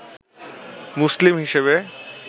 মুসলিম হিসেবে